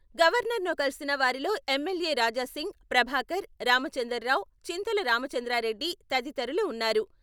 గవర్నర్ను కలిసిన వారిలో ఎమ్మెల్యే రాజాసింగ్, ప్రభాకర్, రామచందర్రావు, చింతల రామచంద్రారెడ్డి తదితరులు ఉన్నారు.